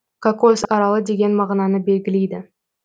кокос аралы деген мағынаны белгілейді